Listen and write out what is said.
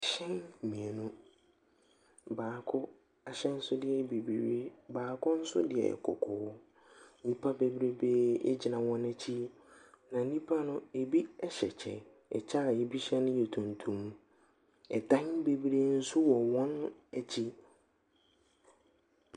Ɛhyɛn mienu, baako ahyɛnsodeɛ ɛyɛ bebree, baako nso yɛ kɔkɔɔ. Nnipa bebree ɛgyina wɔn akyi, na nnipa no ɛbi ɛhyɛ ɛkyɛ. Ɛkyɛ ɛbi hyɛ no yɛ tuntum, ɛdan bebree nso wɔ wɔn akyi.